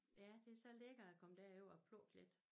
Ja det så lækkert at komme derover og plukke lidt